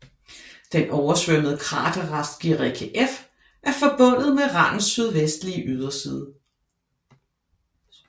Den oversvømmede kraterrest Guericke F er forbundet med randens sydvestlige yderside